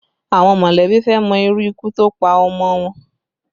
Àwọn mọ̀lẹ́bí fẹ́ mọ irú ikú tó pa ọmọ wọn